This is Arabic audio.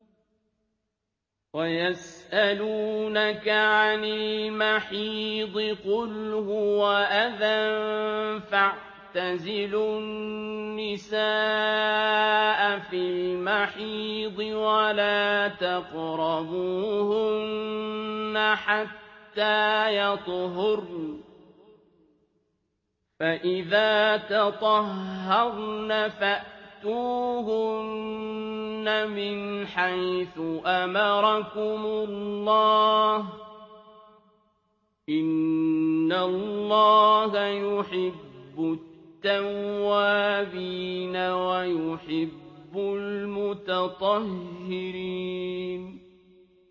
وَيَسْأَلُونَكَ عَنِ الْمَحِيضِ ۖ قُلْ هُوَ أَذًى فَاعْتَزِلُوا النِّسَاءَ فِي الْمَحِيضِ ۖ وَلَا تَقْرَبُوهُنَّ حَتَّىٰ يَطْهُرْنَ ۖ فَإِذَا تَطَهَّرْنَ فَأْتُوهُنَّ مِنْ حَيْثُ أَمَرَكُمُ اللَّهُ ۚ إِنَّ اللَّهَ يُحِبُّ التَّوَّابِينَ وَيُحِبُّ الْمُتَطَهِّرِينَ